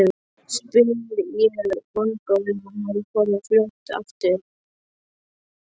spyr ég vongóð um að hann komi fljótt aftur.